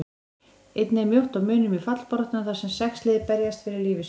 Einnig er mjótt á munum í fallbaráttunni þar sem sex lið berjast fyrir lífi sínu.